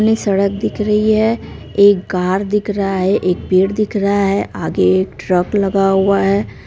सड़क दिख रही है एक कार दिख रहा है एक पेड़ दिख रहा है आगे एक ट्रक लगा हुआ है।